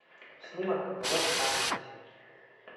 снимок в лос анджелесе